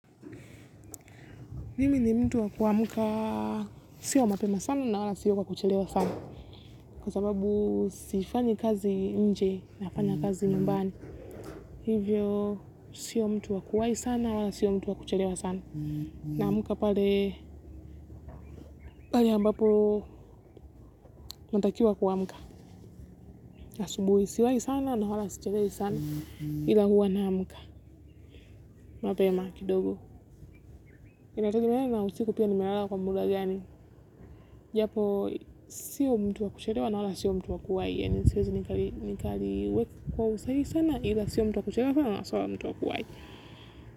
Mimi ni mtu wa kuamka, sio mapema sana na wala sio kwa kuchelewa sana. Kwa sababu sifanyi kazi nje, nafanya kazi nyumbani. Hivyo, sio mtu wa kuwahi sana, wala sio mtu wa kuchelewa sana. Naamka pale, pale ambapo, natakiwa kuamka. Asubuhi siwahi sana na wala sichelewi sana, ila huwa naamka mapema kidogo. Inategemea na usiku pia nimelala kwa muda gani japo sio mtu wa kuchelewa na wala sio mtu wa kuwahi nitauweka kwa usahihi sio mtu wa kuchelewa sana na sio mtu wa kuwahi.